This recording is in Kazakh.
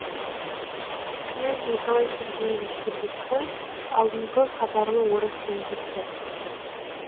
князь николай сергеевич трубецкой алдыңғы қатарлы орыс лингвисті